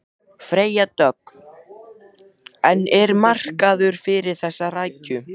Freyja Dögg: En er markaður fyrir þessa rækju?